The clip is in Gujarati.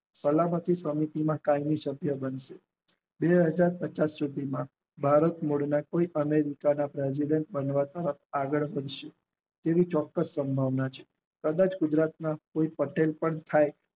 કાળનીતિ સમિતિમાં કાલનું સત્ય બને છે બે હાજર પચાસ સુધી માં ભારત મૂળ માંથી અમેરિકા ના પ્રેસિડન્ટ બનવા તરફ આગળ વધશે તેવી ચોક્કાસ પ્રજ્ઞા માં છે કદાચ ગુજરાત પટલ પણ થાય